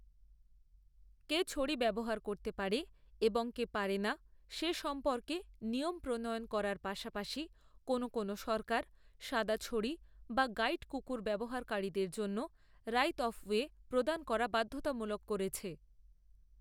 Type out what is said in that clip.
কে ছড়ি ব্যবহার করতে পারে এবং কে পারে না সে সম্পর্কে নিয়ম প্রণয়ন করার পাশাপাশি, কোনও কোনও সরকার সাদা ছড়ি বা গাইড কুকুর ব্যবহারকারীদের জন্য রাইত অফ ওয়ে প্রদান করা বাধ্যতামূলক করেছে।